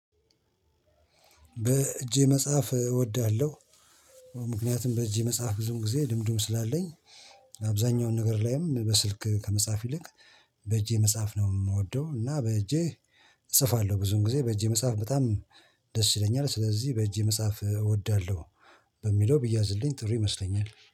በእጄ መጽሐፍ እወድሃለሁ። ምክንያቱም በእጄ መጽሐፍ ብዙም ጊዜ ልምዱም ስላለኝ። አብዛኛውን ነገር ላይም በስልክ ከመጻፍ ይልቅ በእጄ መጻፍ ነው የምወደው። እና በእጄ እጽፋለሁ ብዙን ጊዜ በእጄ መጻፍ በጣም ደስ ይለኛል። ስለዚህ በእጄ መጻፍ እወዳለሁ። በሚለው ቢያዝልኝ ጥሩ ይመስለኛል